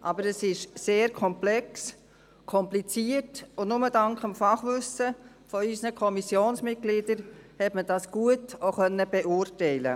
aber es ist sehr komplex und kompliziert, und nur dank dem Fachwissen unserer Kommissionsmitglieder konnte man es auch gut beurteilen.